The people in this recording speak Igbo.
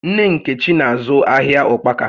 Nne Nkechi na-azụ ahịa ụkpaka